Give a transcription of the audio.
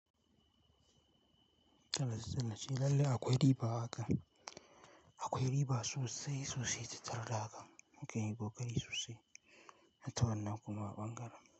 Tallace tallace lallai akwai riba haka, akwai riba sosai sosai tattare da haka muke yi kokari sosai na tawanna kuma ɓangaren.